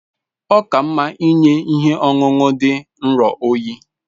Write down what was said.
Ọ ka mma inye ihe ọṅụṅụ dị nro oyi